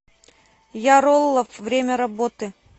яроллов время работы